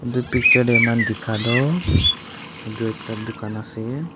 edu picture tae amikhan dikha toh edu ekta dukan ase.